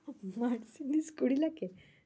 Mercedes কুড়ি লাখে এ?